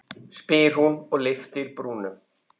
spyr hún og lyftir brúnum.